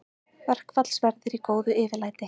Verkfallsverðir í góðu yfirlæti